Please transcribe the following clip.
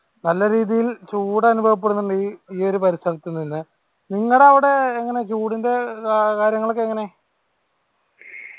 നല്ല രീതിയിൽ ചൂട് അനുഭവപ്പെടുന്നിണ്ട് ഈ ഈ ഒരു പരിസരത്ത് നിന്ന് നിങ്ങടെ അവിടെ എങ്ങനെ ചൂടിന്റെ ഏർ കാര്യങ്ങളൊക്കെ എങ്ങനെ